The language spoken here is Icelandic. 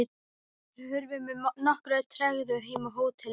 Þeir hurfu með nokkurri tregðu heim á hótelið.